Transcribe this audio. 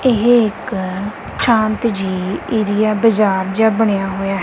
ਏਹ ਇੱਕ ਸ਼ਾਂਤ ਜੇਹੀ ਏਰੀਆ ਬਜਾਰ ਜੇਹਾ ਬਣਿਆ ਹੋਇਆ ਹੈ।